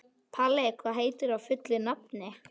Palli, hvað heitir þú fullu nafni?